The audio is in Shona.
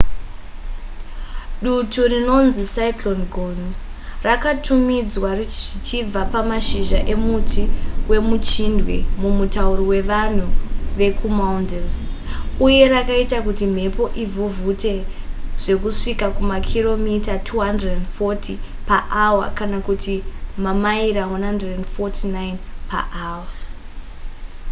dutu rinonzi cyclone gonu rakatumidzwa zvichibva pamashizha emuti wemuchindwe mumutauro wevanhu vekumaldives uye rakaita kuti mhepo ivhuvhute zvekusvika kumakiromita 240 paawa kana kuti mamaira 149 paawa